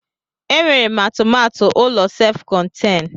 E nwere m atụmatụ ụlọ sef konten.